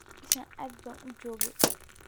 Meshan aad ban ujokee.